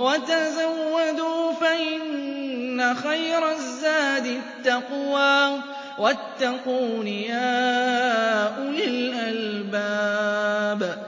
وَتَزَوَّدُوا فَإِنَّ خَيْرَ الزَّادِ التَّقْوَىٰ ۚ وَاتَّقُونِ يَا أُولِي الْأَلْبَابِ